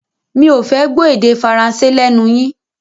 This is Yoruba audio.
Mi ò fẹ́ gbọ́ èdè Faransé lẹ́nu yín!